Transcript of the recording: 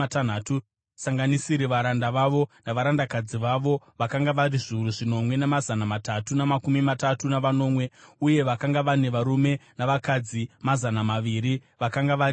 tisingasanganisiri varanda vavo navarandakadzi vavo vakanga vari zviuru zvinomwe namazana matatu namakumi matatu navanomwe: uye vakanga vane varume navakadzi mazana maviri vakanga vari vaimbi.